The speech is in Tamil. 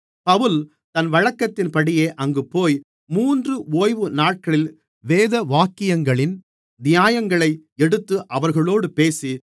பவுல் தன் வழக்கத்தின்படியே அங்குபோய் மூன்று ஓய்வுநாட்களில் வேதவாக்கியங்களின் நியாயங்களை எடுத்து அவர்களோடு பேசி